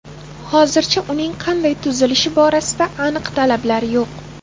Hozircha uning qanday tuzilishi borasida aniq talablar yo‘q.